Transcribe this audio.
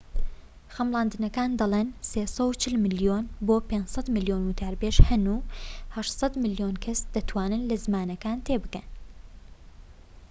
خەملاندنەکان دەڵێن ٣٤٠ ملیۆن بۆ ٥٠٠ ملیۆن وتاربێژی هەن و ٨٠٠ ملیۆن کەس دەتوانن لە زمانەکە تێبگەن